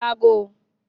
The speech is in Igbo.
E nwere ori agụụ.